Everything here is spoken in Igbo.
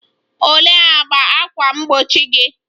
Olee agba ákwà mgbochi gị?